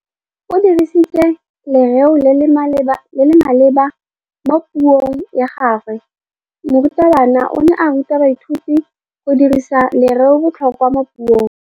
O dirisitse lerêo le le maleba mo puông ya gagwe. Morutabana o ne a ruta baithuti go dirisa lêrêôbotlhôkwa mo puong.